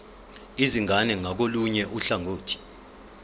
izingane ngakolunye uhlangothi